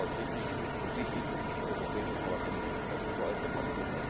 Deshalb war es richtig und wichtig, dass sich das Europäische Parlament dazu geäußert hat.